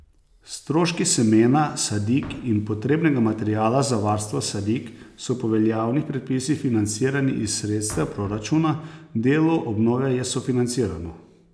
Stroški semena, sadik in potrebnega materiala za varstvo sadik so po veljavnih predpisih financirani iz sredstev proračuna, delo obnove je sofinancirano.